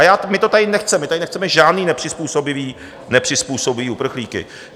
A my to tady nechceme, my tady nechceme žádné nepřizpůsobivé, nepřizpůsobivé uprchlíky.